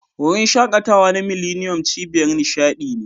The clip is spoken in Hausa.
Wurin shaƙatawa na millennium, cibiyar nishadi ne.